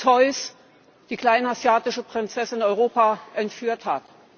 Zeus die kleinasiatische Prinzessin Europa entführt hat.